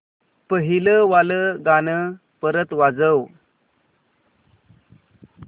पहिलं वालं गाणं परत वाजव